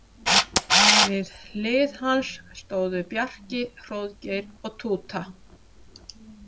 Við hlið hans stóðu Bjarki, Hróðgeir og Túta.